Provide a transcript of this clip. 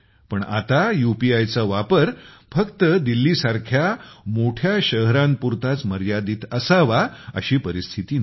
पण आता यूपीआय चा वापर फक्त दिल्लीसारख्या मोठ्या शहरांपुरताच मर्यादित असावा अशी परिस्थिती नाही